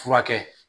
Furakɛ